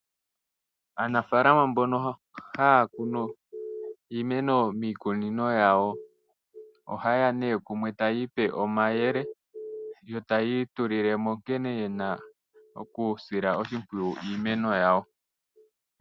Aanafaalama mbono haya kunu iimeno miikunino yawo ohaye ya kumwe taya ipe omayele yo taya itulile mo nkene ye na okusila oshimpwiyu iimeno yawo.